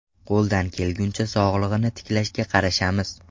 Qo‘ldan kelguncha, sog‘lig‘ini tiklashga qarashamiz.